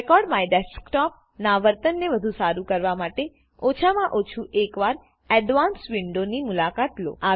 record my desktop ના વર્તન ને વધુ સારું કરવા માટેઓછા માં ઓછુ એક વાર ADVANCEDવિન્ડો ની મુલાકાત લો